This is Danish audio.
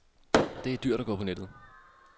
Det er for dyrt at gå på nettet.